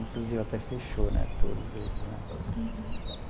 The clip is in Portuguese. Inclusive até fechou né, todos eles né. Uhum.